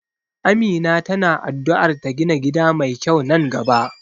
Amina ta na addu'ar ta gina gida mai kyau nan gaba.